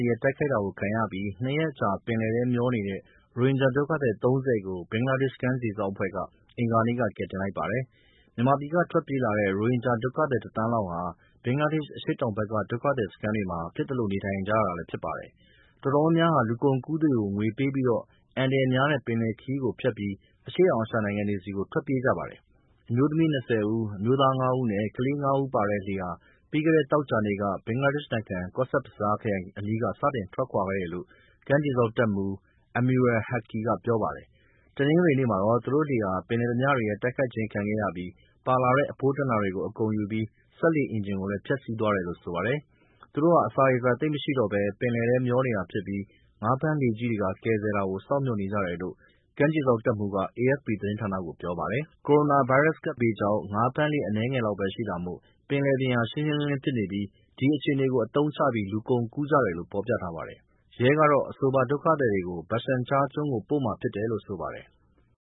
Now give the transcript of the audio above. ရဲ့ တိုက်ခိုက်တာခံခဲ့ရပြီး ၂ ရက်အကြာ ဘင်္ဂလားပင်လယ်ထဲမျောနေတဲ့ ရိုဟင်ဂျာဒုက္ခသည် ၃၀ ကို ဘင်္ဂလားဒေ့ရှ် ကမ်းခြေစောင့်တပ်ဖွဲ့က ပြီးခဲ့တဲ့ အင်္ဂါနေ့က ကယ်တင်လိုက်ပါတယ်။ မြန်မာပြည်က ထွက်ပြေးလာတဲ့ ရိုဟင်ဂျာ ဒုက္ခသည် ၁ သန်းလောက်ဟာ ဘင်္ဂလားဒေ့ရှ် အရှေ့တောင်ဘက်က ဒုက္ခသည်စခန်းတွေမှာ ဖြစ်သလို နေထိုင်နေကြရတာလည်း ဖြစ်ပါတယ်။ တော်တော်များများဟာ လူကုန်ကူးသူတွေကို ငွေပေးပြီး အန္တရာယ်များတဲ့ ပင်လယ်ခရီးကို ဖြတ်ပြီး အရှေ့တောင်အာရှနိုင်ငံတွေဆီကို ထွက်ပြေးကြပါတယ်။ အမျိူးသမီး ၂၀ ဦး၊ အမျိူးသား ၅ ဦး နဲ့ ကလေးငယ် ၅ ဦးပါတဲ့လှေဟာ ပြီးခဲ့တဲ့ သောကြာနေ့က ဘင်္ဂလားဒေ့ရှ် နိုင်ငံ Cox's Bazar ခရိုင် အနီးက စတင်ထွက်ခွာခဲ့တယ်လို့ ကမ်းခြေစောင့် တပ်မှူး Amirul Haque ကပြောပါတယ်။ တနင်္ဂနွေနေ့မှာတော့ သူတို့လှေဟာ ပင်လယ်ဓါးပြတွေရဲ့ တိုက်ခိုက်ခြင်းခံရပြီး ပါလာတဲ့ အဖိုးတန်တာတွေ အကုန်ယူပြီး စက်လှေ အင်ဂျင်ကိုလည်း ဖျက်ဆီးသွားတယ်လို့ ဆိုပါတယ်။ သူတို့ ဟာ အစာရေစာ သိပ်မရှိတော့ပဲ ပင်လယ်ထဲမျောနေတာဖြစ်ပြီး ငါးဖမ်းလှေကြီးတွေက ကယ်ဆယ်တာကို စောင့်မျှော်နေကြတယ်လို့ ကမ်းခြေစောင့်တပ်မှူးက AFP သတင်းဌာနကို ပြောပါတယ်။ ကိုရိုနာဗိုင်းရပ်စ်ကပ်ဘေးကြောင့် ငါးဖမ်းလှေအနည်းငယ်လောက်ပဲရှိတာမို့ ပင်လယ်ပြင်ဟာရှင်းရှင်းလင်းလင်းဖြစ်နေပြီး ဒီအခြေအနေကို အသုံးချပြီး လူကုန်ကူးကြတယ်လို့ ဖော်ပြထားပါတယ်။ ရဲကတော့ အဆိုပါဒုက္ခသည်တွေကို Bhashan Char ကျွန်းကို ပို့မှာဖြစ်တယ်လို့ဆိုပါတယ်။